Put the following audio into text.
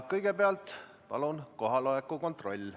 Kõigepealt palun teeme kohaloleku kontrolli.